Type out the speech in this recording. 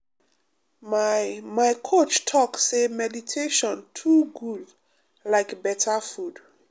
my my coach talk say meditation too good like better food.